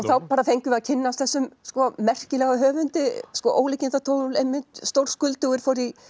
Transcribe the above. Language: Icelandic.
þá fengum við að kynnast þessum merkilega höfundi ólíkindatól einmitt stórskuldugur